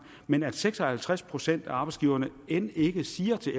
men at seks og halvtreds procent af arbejdsgiverne end ikke siger til